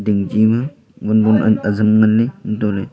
nong che na wan bon ajam ngan ley hatoh ley--